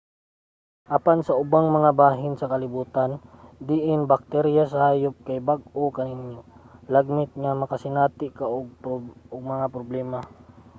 apan sa ubang mga bahin sa kalibutan diin ang bakterya sa hayop kay bag-o kaninyo lagmit nga makasinati ka og mga problema